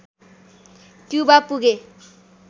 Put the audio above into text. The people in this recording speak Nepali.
क्युबा पुगे